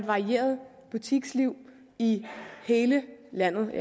varieret butiksliv i hele landet